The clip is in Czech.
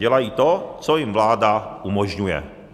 Dělají to, co jim vláda umožňuje.